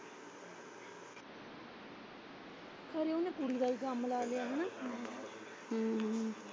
ਫਿਰ ਉਹਨੇ ਤੂੜੀ ਦਾ ਵੀ ਕੰਮ ਲਾ ਲਿਆ ਹੈਨਾ।